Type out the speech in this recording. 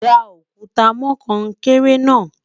dá òkúta mọ konkere na